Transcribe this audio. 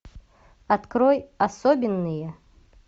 открой особенные